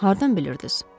Hardan bilirdiniz?